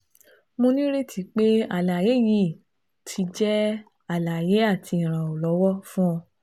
Mo nireti pe alaye yii ti jẹ alaye ati iranlọwọ fun ọ